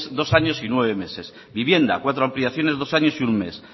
dos años y nueve meses vivienda cuatro ampliaciones dos años y un mes